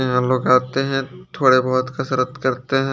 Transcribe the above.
यहाँ लगाते है थोड़ी बहोत कसरत करते है।